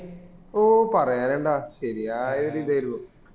ഓ പറയാനിണ്ട ശെരിയായ ഒരു ഇതായിരുന്നു